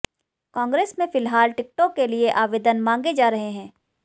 कांग्रेस में फिलहाल टिकटों के लिए आवेदन मांगे जा रहे हैं